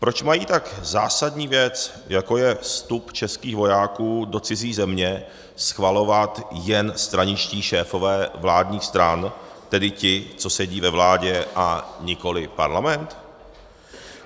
Proč mají tak zásadní věc, jako je vstup českých vojáků do cizí země, schvalovat jen straničtí šéfové vládních stran, tedy ti, co sedí ve vládě, a nikoliv Parlament?